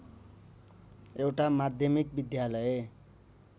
एउटा माध्यमिक विद्यालय